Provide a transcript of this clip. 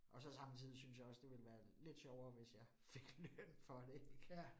Og så samtidig synes jeg også, det ville være lidt sjovere, hvis jeg fik løn for det ik